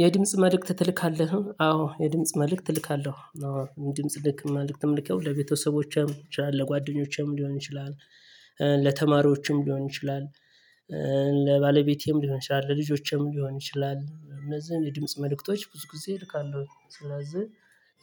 የድምጽ መልእክት ትልካለህ? አዎ የድምጽ መልእክት እልካለሁ። ድምጽ ልክ መልእክት የምልከው ለቤተሰቦቼም የሆነ ይችላል ለጓደኞቼም ሊሆን ይችላል። ለተማሪዎችም ሊሆን ይችላል። ለባለቤቴም ሊሆን ይችላል ለልጆቼም ሊሆን ይችላል እነዚህን የድምጽ መልእክቶች ብዙ ጊዜ እልካለሁ። ስለዚህ